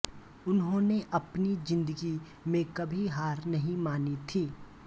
उन्होंने अपनी जिंदगी में कभी हार नहीं मानी थी